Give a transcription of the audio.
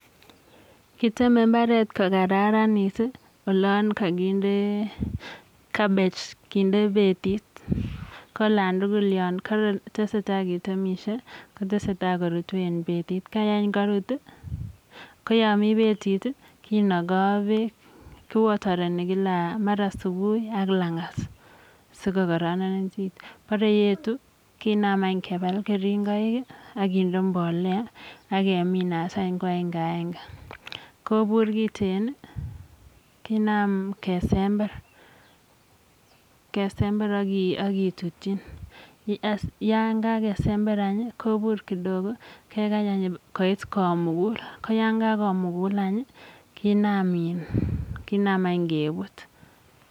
Kiteme mbaret kokararanit olon kakinde cabbage kinde betit koolon tugul yon tesetai ketemishe kotesetai korotu eng betit koyo karut koyami betit kinakoi beek ki watereni kila mara subui ak langat sikokararanit borei etu kinam any kebal keringoik akende mbolea akemi asany koagenge agenge kobur kiten kenam kesember aketutyin yokakesember anyun kobur kidogo kekany anyun koit komukul koyokakomugul any kinaam anykebut.